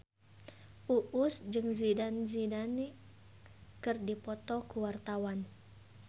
Uus jeung Zidane Zidane keur dipoto ku wartawan